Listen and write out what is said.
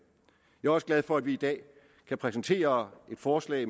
jeg er også glad for at vi i dag kan præsentere et forslag